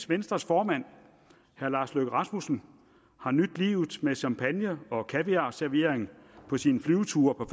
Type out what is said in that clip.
venstres formand herre lars løkke rasmussen har nydt livet med champagne og kaviarservering på sine flyveture på